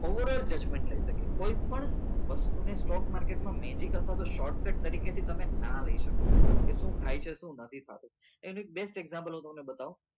over all judgement લઇ શકીએ કોઈ પણ વસ્તુ ને stock market માં magic અથવા તો short cut તરીકે થી તમે નાં લઇ શકો કે સુ થાય છે શું નથી થતું એનું એક best example હું તમને બતાવું